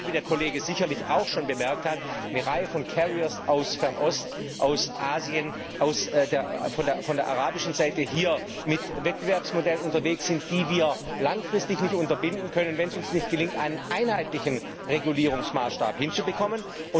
Denn wie der Kollege sicherlich auch schon bemerkt hat eine Reihe von aus Fernost, aus Asien, von der arabischen Seite ist hier mit Wettbewerbsmodellen unterwegs, die wir langfristig nicht unterbinden können, wenn es uns nicht gelingt, einen einheitlichen Regulierungsmaßstab hinzubekommen.